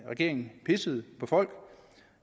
regeringen pissede på folk